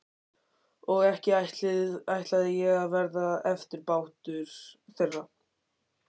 Og ekki ætlaði ég að verða eftirbátur þeirra.